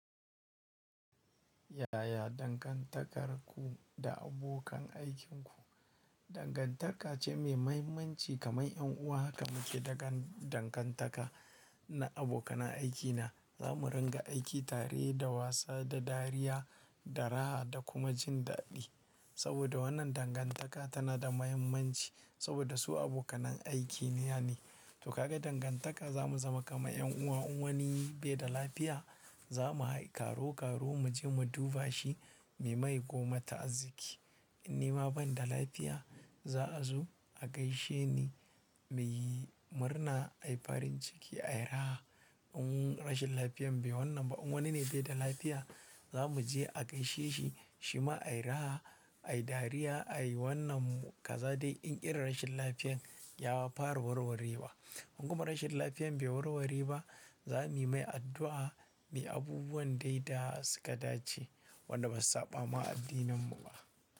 Yaya dangantakarku da abokan aikinku? Dangantaka ce mai mahimmanci kamar 'yan uwa. Kamu ke daga dangantaka na abokan aikina. Za mu ringa aiki tare da wasa, da dariya, da raha da kuma jin daɗi. Saboda wannan dangantaka tana da mahimmanci saboda su abokanan aiki ne. Yane to ka ga dangantaka za mu zama kamar 'yan uwa. In wani bai da lafiya, za mu karo karo mu je mu duba shi. Muyi mai goma ta'azki. In nima ban da lafiya, za a zo a gaishe ni, mu yi murna. Ai farin ciki, ai raha. In rashin lafiyan bai wannan ba, in wani ne bai da lafiya, za mu je a gaishe shi. Shi ma ai raha, ai dariya, ai wannan kaza dai in irin rashin lafiyan ya fara warwarewa. In kuma rashin lafiyan bai warware ba, za mu yi mai addu'a muyi abubuwan dai da suka dace wanda basu saɓama addininmu ba.